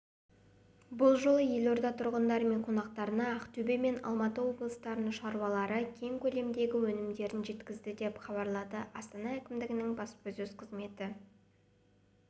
бұл жолы елорда тұрғындары мен қонақтарына ақтөбе мен алматы облыстарының шаруалары кең көлемдегі өнімдерін жеткізді деп хабарлады астана әкімдігінің баспасөз қызметі